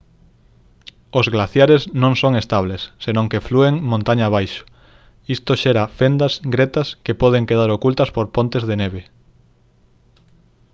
os glaciares non son estables senón que flúen montaña abaixo isto xera fendas gretas que poden quedar ocultas por pontes de neve